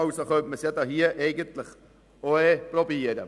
Also könnte man es hier eigentlich auch probieren.